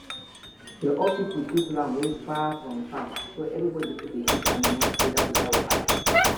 the old pipo choose land wey far from farm so everybody fit dey feed animal together without wahala